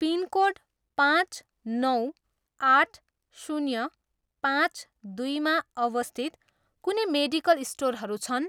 Pin code पाँच, नौ, आठ, शून्य, पाँच, दुईमा अवस्थित कुनै मेडिकल स्टोरहरू छन्?